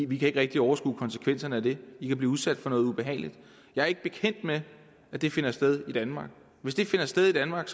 vi kan ikke rigtig overskue konsekvenserne af det i kan blive udsat for noget ubehageligt jeg er ikke bekendt med at det finder sted i danmark hvis det finder sted i danmark